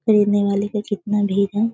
खरीदने वाले का जितना भी --